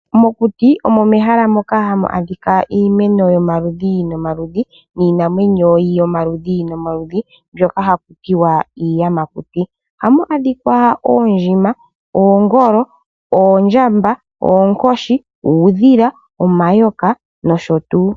Mokuti omo mehala moka hamu adhika iiimeno yomaludhi nomaludhi niinamwenyo yomalushi nomaludhi mbyoka hakutiwa iiyamakuti. Ohamu adhika oondjima, oongolo, oondjamba, oonkoshi, uudhila, omayoka nosho tuu.